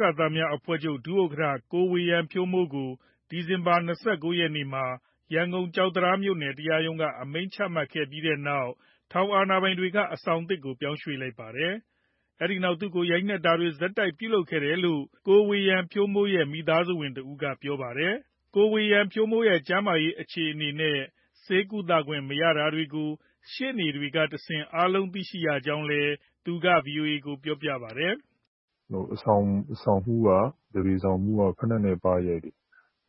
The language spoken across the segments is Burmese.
ကသများအဖွဲ့ချုပ် ဒု-ဥက္ကဋ္ဌ ကိုဝေယံဖြိုးမိုးကို ဒီဇင်ဘာလ ၂၉ ရက်နေ့မှာ ကျောက်တံတားမြို့ နယ် တရားရုံးက အမိန့်ချပြီးတဲ့နောက် ထောင်အာဏာပိုင်တွေက အဆောင်သစ်ကို ပြောင်းရွှေ့ လိုက်ပါတယ်။ အဲဒီနောက်သူ့ကို ဆက်တိုက်လို ရိုက်နှက်ခဲ့ကြတယ်လို့ ကိုဝေယံဖြိုးမိုးရဲ့ မိသားစုဝင်တဦးက ပြောပါတယ်။ ကိုဝေယံဖြိုးမိုးရဲ့ ကျန်းမာရေးအခြေအနေနဲ့ ဆေးကုသခွင့်မရတာတွေကို ရှေ့နေတွေကတဆင့် အားလုံးသိရကြောင်းလည်း မိသားစုဝင်က ဗွီအိုအေကို ပြောပါတယ်။ “အဆောင်မှူး သပြေဆောင်မှူးက ဖိနပ်နဲ့ပါးရိုက်တယ်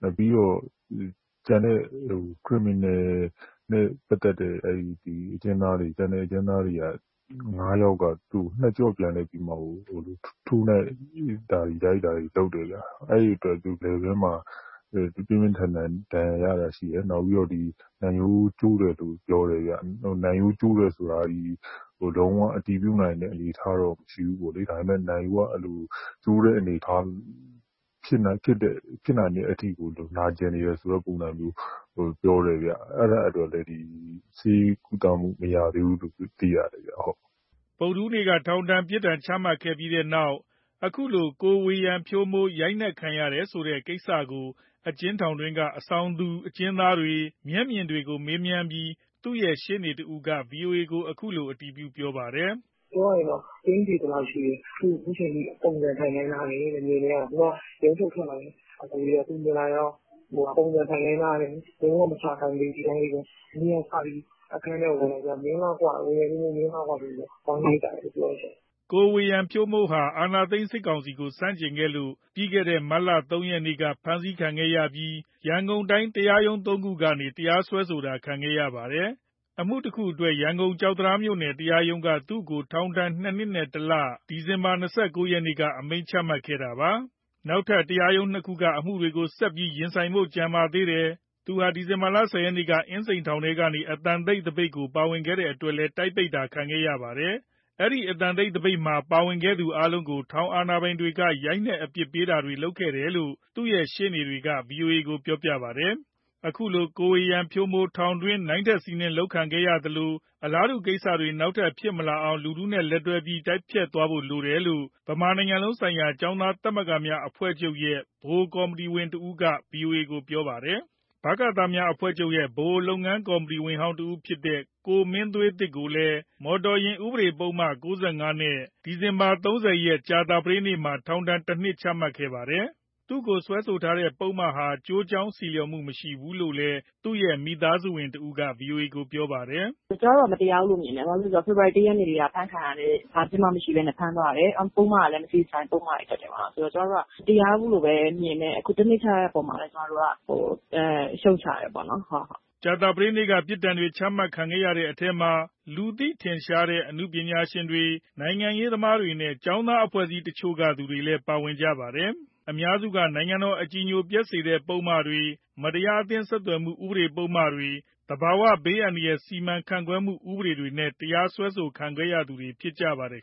၊ ပြီးတော့ ကျန်တဲ့ criminal နဲ့ပတ်သက်တဲ့ ကျန်တဲ့အကျဉ်းသား ငါးယောက်က သူ့ကိုနှစ်ကျော့ပြန်လည်ပြီးမှကို ထိုးနှက်၊ ရိုက်တာတွေ လုပ်တယ်ဗျ။ အဲဒီအတွက် သူလည်ပင်းမှာ ပြင်းပြင်းထန်ထန် ဒဏ်ရာရတာရှိတယ်။ နောက်ပြီး နံ ရိုးကျိုးတယ်လို့ ပြောတယ်ဗျ။ နံရိုးကျိုးတယ်ဆိုတာ လုံးဝအတည်ပြုနိုင်တဲ့ အနေအထားတော့ မရှိဘူးပေါ့လေ၊ ဒါပေမယ့် နံရိုးက ကျိုးတဲ့အနေအထားမျိုး ဖြစ်နိုင်တဲ့အထိကို နာကျင်နေတဲ့ပုံစံမျိုး ပြောတယ်ဗျ။ အဲဒီအတွက်လည်း ဆေးကုသခွင့် မရသေးဘူးလို့ သိရတယ်ဗျ။” ဗုဒ္ဓဟူးနေ့က ထောင်ချခံရပြီးတဲ့နောက် အခုလို ကိုဝေယံဖြိုးမိုး ရိုက်နှက်ခံရတယ်ဆိုတဲ့ကိစ္စကို အကျဉ်းထောင်တွင်းက အဆောင်တူအကျဉ်းသားတွေ၊ မျက်မြင်တွေကိုမေးမြန်းပြီး သူ့ရဲ့ရှေ့နေ တဦးက ဗွီအိုအေကို အတည်ပြုပြောပါတယ်။ “ပြောရရင်တော့ ကျိန်းသေသလောက်ရှိတယ်။ သူ့ကို အခုအချိန်အထိ ပုံစံထိုင်ခိုင်းထားတယ်တဲ့။ ခုနက ရုံးထုတ်ထွက်လာတဲ့ အကိုတွေက မြင်လာတာ။ ပုံစံထိုင်ခိုင်းထားတယ်၊ လုံးဝမထခိုင်းသေးဘူး။ ဒီအတိုင်းလေးပဲ။ မနေ့ကစပြီး အခန်းထဲဝင်လာပြီး ‘မင်းလားကွ’ ၊ ‘ဝေယံဖြိုးမိုး မင်းလားကွ’ ဆိုပြီး ဝိုင်းရိုက်ကြတယ်လို့ ပြောတယ်ရှင့်။” ကိုဝေယံဖြိုးမိုးဟာ အာဏာသိမ်းစစ်ကောင်စီကို ဆန့်ကျင်ခဲ့လို့ မတ်လ ၃ ရက်နေ့မှာ ဖမ်းဆီးခံခဲ့ရပြီး ရန်ကုန်တိုင်း တရားရုံးသုံးခုကနေ တရားစွဲဆိုတာ ခံခဲ့ရတာပါ။ အမှုတခုအတွက် ကျောက် တံတားမြို့နယ်တရားရုံးက သူ့ကို ထောင်ဒဏ် နှစ်နှစ်နဲ့ တလ ဒီဇင်ဘာလ ၂၉ရက်နေ့က အမိန့်ချခဲ့ပါတယ်။ နောက်ထပ်တရားရုံးနှစ်ခုမှာ အမှုတွေကို ဆက်ပြီးရင်ဆိုင်ဖို့ ကျန်ပါသေးတယ်။ သူဟာ ဒီဇင်ဘာလ ၁၀ ရက်နေ့က အင်းစိန်ထောင်တွင်း အသံတိတ်သပိတ်မှာ ပါဝင်ခဲ့တဲ့အတွက် လည်း တိုက်ပိတ်ခံခဲ့ရပါတယ်။ ဒီအသံတိတ်သပိတ်မှာ ပါဝင်ခဲ့သူတွေအားလုံးကို ထောင်အာဏာပိုင်တွေက ရိုက်နှက်အပြစ်ပေးခဲ့တယ်လို့ သူတို့ရဲ့ရှေ့နေတွေက ဗွီအိုအေကို ပြောပါတယ်။ အခု ကိုဝေယံဖြိုးမိုး ထောင်တွင်းမှာ ရိုက်နှက်ခံရသလိုအလားတူကိစ္စတွေ နောက်ထပ်ဖြစ်မလာအောင် လူထုနဲ့လက်တွဲပြီး တိုက်ဖျက်သွားဖို့လိုတယ်လို့ ဗမာနိုင်ငံလုံးဆိုင်ရာ ကျောင်းသားသမဂ္ဂများအဖွဲ့ချုပ်ရဲ့ ဗဟိုကော်မတီဝင်တဦးက ဗွီအိုအေကို ပြောပါတယ်။ ဗကသများအဖွဲ့ချုပ်၊ ဗဟိုလုပ်ငန်းကော်မတီဝင်ဟောင်းတယောက်ဖြစ်တဲ့ ကိုမင်းသွေးသစ်ကိုလည်း မော်တော်ယာဉ်ဥပဒေပုဒ်မ ၉၅ နဲ့ ဒီဇင်ဘာ ၃၀ ကြာသပတေးနေ့မှာ ထောင်ဒဏ် ၁ နှစ် အမိန့်ချခဲ့ပါတယ်။ သူ့ကိုစွဲဆိုထားတဲ့ပုဒ်မဟာ ကျိုးကြောင်းဆီလျော်မှုမရှိဘူးလို့ သူ့ရဲ့မိသားစုဝင်တဦးက ဗွီအိုအေကို ပြောပါတယ်။ “ကျမတို့က မတရားဘူးလို့မြင်တယ်၊ ဘာလို့လဲဆိုတော့ ဖေဖော်ဝါရီ ၁ ရက်နေ့ကတည်းက ဖမ်းခံရတဲ့ဟာ ဘာအပြစ်မှမရှိဘဲ ဖမ်းသွားတယ်။ ပုဒ်မကလည်း မသေချာတဲ့ပုဒ်မတွေ တပ်တယ်။ ကျမတို့က မတရားဘူးလို့ပဲမြင်တယ်၊ အခုတနှစ်ချတဲ့အပေါ်မှာလည်း ကျမတို့က ရှုတ်ချတယ်ပေါ့နော်။” ကြာသပတေးနေ့က ပြစ်ဒဏ်အမိန့်တွေချခဲ့တဲ့ထဲမှာ လူသိထင်ရှားတဲ့ အနုပညာရှင်တွေ၊ နိုင်ငံရေးသမားတွေနဲ့ ကျောင်းသားအဖွဲ့အစည်းတချို့ကသူတွေ ပါဝင်နေပါတယ်။ အများစုက နိုင်ငံတော်အကြည်ညိုပျက်စေတဲ့ပုဒ်မတွေ၊မတရားအသင်းဆက်သွယ်မှု ဥပဒေပုဒ်မတွေ၊ သဘာဝဘေးအန္တရာယ် စီမံခန့်ခွဲမှုဥပဒေတွေနဲ့ တရားစွဲခံခဲ့ရသူတွေဖြစ်ကြပါတယ်